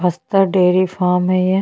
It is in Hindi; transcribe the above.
बस्तर डेरी फार्म है ये --